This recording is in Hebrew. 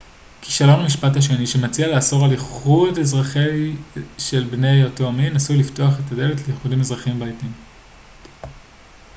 כישלון המשפט השני שמציע לאסור על איחוד אזרחי של בני אותו מין עשוי לפתוח את הדלת לאיחודים אזרחיים בעתיד